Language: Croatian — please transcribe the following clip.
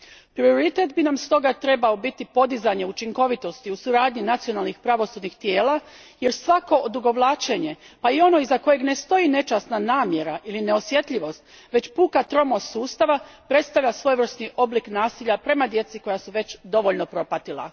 Prioritet bi nam stoga trebao biti podizanje učinkovitosti u suradnji nacionalnih pravosudnih tijela, jer svako odugovlačenje pa i ono iza kojeg ne stoji nečasna namjera ili neosjetljivost, već puka tromost sustava, predstavlja svojevrsni oblik nasilja prema djeci koja su već dovoljno propatila.